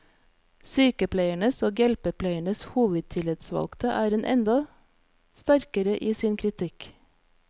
Sykepleiernes og hjelpepleiernes hovedtillitsvalgte er enda sterkere i sin kritikk.